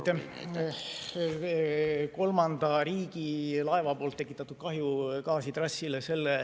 See on kolmanda riigi laeva poolt tekitatud kahju gaasitrassile.